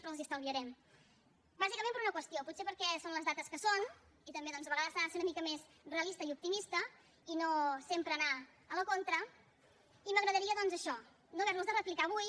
però els ho estalviarem bàsicament per una qüestió potser perquè són les dates que són i també a vegades s’ha de ser una mica més realista i optimista i no sempre anar a la contra i m’agradaria doncs això no haver los de replicar avui